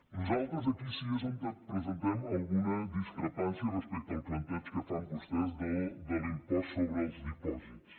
nosaltres aquí sí és on presentem alguna discrepància respecte al plantejament que fan vostès de l’impost sobre els dipòsits